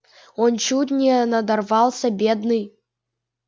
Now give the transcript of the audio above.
он чуть не надорвался бедный